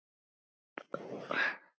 Auðveld lausn.